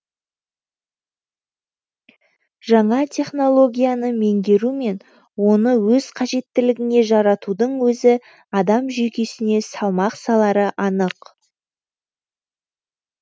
жаңа технологияны меңгеру мен оны өз қажеттілігіңе жаратудың өзі адам жүйкесіне салмақ салары анық